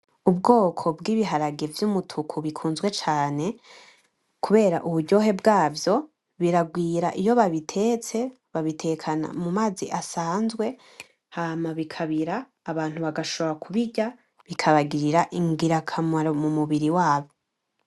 Ubwoko bwibiharage vyumutuku bikunzwe cane, kubera uburyohe bwavyo birarwira iyo babitetse babitekana mumazi asanzwe, hama bikabira abantu bagashobora kubirya bikabagirira ingirakamaro mumubira wabo.